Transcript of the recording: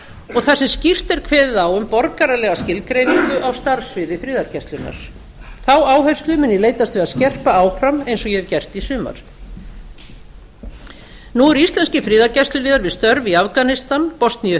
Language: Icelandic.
og þar er skýrt kveðið á um borgaralega skilgreiningu á starfssviði friðargæslunnar þá áherslu mun ég leitast við að skerpa áfram eins og ég hef gert í sumar nú eru íslenskir friðargæsluliðar við störf í afganistan bosníu